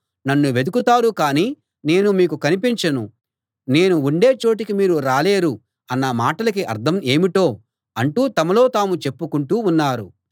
నన్ను వెతుకుతారు కానీ నేను మీకు కనిపించను నేను ఉండే చోటికి మీరు రాలేరు అన్న మాటలకి అర్థం ఏమిటో అంటూ తమలో తాము చెప్పుకుంటూ ఉన్నారు